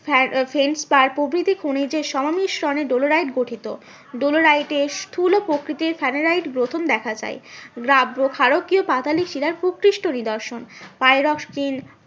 প্রভৃতি খনিজের সমমিশ্রনে ডলোরাইট গঠিত। ডলোরাইট এ স্থুল প্রকৃতির স্যানেরাইট গ্রথন দেখা যায়। গ্রাব্ব ক্ষারকীয় পাতালিক শিলার প্রকৃষ্ট নিদর্শন।